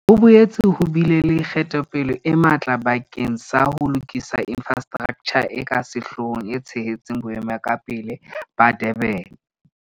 Ho boetse ho bile le kgatelopele e matla bakeng sa ho lokisa infrastraktjha e ka sehloohong e tshehetsang Boemakepe ba Durban.